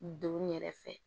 Don yɛrɛ fɛ